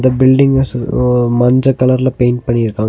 இந்த பில்டிங்க சோ ஒ மஞ்ச கலர்ல பெயிண்ட் பண்ணிருக்காங்க.